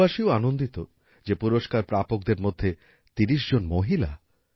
দেশবাসীও আনন্দিত যে পুরস্কার প্রাপকদের মধ্যে ৩০ জন মহিলা